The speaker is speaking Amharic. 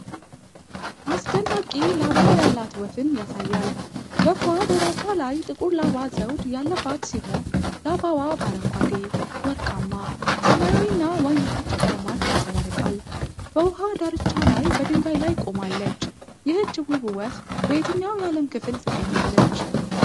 አስደናቂ ላባ ያላት ወፍን ያሳያል። ወፏ በራሷ ላይ ጥቁር ላባ ዘውድ ያለባት ሲሆን፣ ላባዋ በአረንጓዴ፣ ወርቃማ፣ ሰማያዊና ወይን ጠጅ ቀለማት ያንጸባርቃል። በውሃ ዳርቻ ላይ በድንጋይ ላይ ቆማለች። ይህች ውብ ወፍ በየትኛው የዓለም ክፍል ትገኛለች?